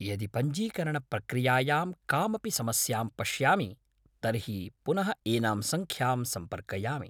यदि पञ्जीकरणप्रक्रियायां कामपि समस्यां पश्यामि तर्हि पुनः एनां सङ्ख्यां सम्पर्कयामि।